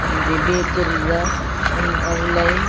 ಒಂಜಿ ಬೇಕರಿದ ದ ಉಲಯಿ.